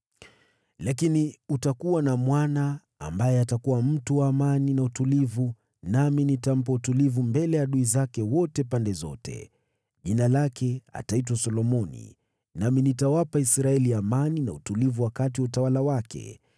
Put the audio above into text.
Lakini utakuwa na mwana ambaye atakuwa mtu wa amani na utulivu nami nitampa utulivu mbele ya adui zake wote pande zote. Jina lake ataitwa Solomoni, nami nitawapa Israeli amani na utulivu wakati wa utawala wake.